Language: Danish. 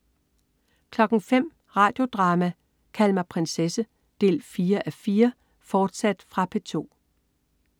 05.00 Radio Drama: Kald mig prinsesse 4:4, fortsat. Fra P2